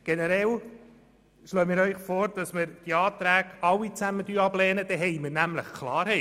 Generell schlagen wir Ihnen vor, die Anträge allesamt abzulehnen, dann haben wir nämlich Klarheit.